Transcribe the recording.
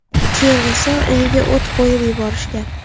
Keyin esa uyiga o‘t qo‘yib yuborishgan.